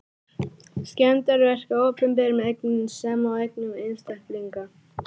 Skemmdarverk á opinberum eignum sem og eignum einstaklinga.